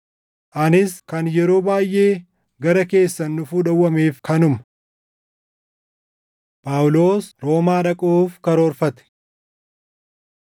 Anis kan yeroo baayʼee gara keessan dhufuu dhowwameef kanuma. Phaawulos Roomaa dhaquuf Karoorfate